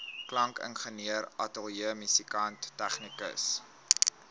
klankingenieur ateljeemusikant tegnikus